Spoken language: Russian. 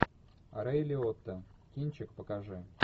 рэй лиотта кинчик покажи